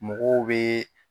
Mɔgɔw bɛ